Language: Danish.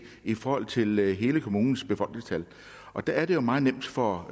i forhold til hele kommunens befolkningstal og der er det jo meget nemt for